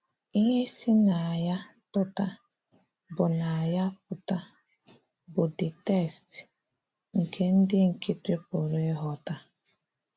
Íhè sì n’áyá pụ́tà bụ n’áyá pụ́tà bụ the text nke ndị nkịtị̀ pụrụ ịghọ́tà.